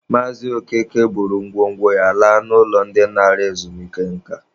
Maazị Okeke buru ngwo ngwo ya laa n'ụlọ ndị nara ezumike nka.